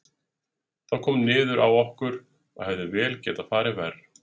Það kom niður á okkur, og hefði vel getað farið verr.